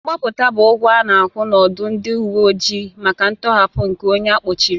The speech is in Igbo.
Mgbapụta bụ ụgwọ a na-akwụ n'ọdụ ndị uwe ojii maka ntọhapụ nke onye a kpọchiri.